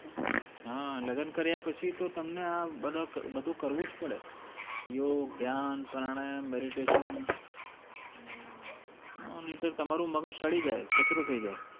હા લગન કર્યા પછી તો તમને આ બધું કરવું જ પડે યોગ ધ્યાન પ્રાણાયામ meditation નહીંતર તો તમારું મગજ સડી જાય કચરો થઇ જાય